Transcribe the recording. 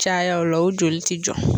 Caya o la o joli tɛ jɔ.